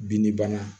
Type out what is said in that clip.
Bin ni bana